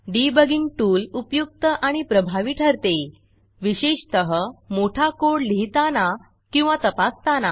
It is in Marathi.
debuggingडिबगिंग टूल उपयुक्त आणि प्रभावी ठरते विशेषतः मोठा कोड लिहिताना किंवा तपासताना